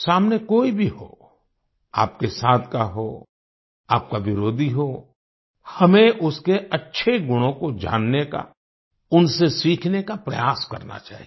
सामने कोई भी हो आपके साथ का हो आपका विरोधी हो हमें उसके अच्छे गुणों को जानने का उनसे सीखने का प्रयास करना चाहिए